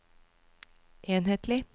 enhetlig